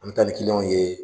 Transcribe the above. An mi taa ni kiliyanw ye